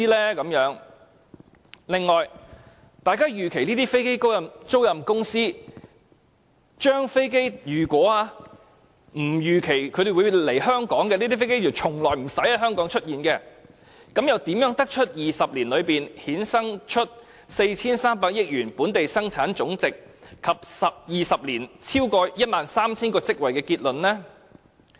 此外，如果大家預期這些飛機租賃公司的飛機不會來港，即從不會在香港出現，又怎得到在20年裏會衍生 4,300 億元本地生產總值及超過 13,000 個職位的結論呢？